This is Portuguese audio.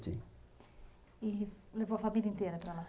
E levou a família inteira para lá?